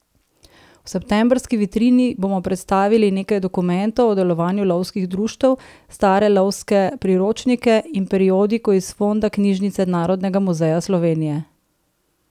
V septembrski vitrini bomo predstavili nekaj dokumentov o delovanju lovskih društev, stare lovske priročnike in periodiko iz fonda knjižnice Narodnega muzeja Slovenije.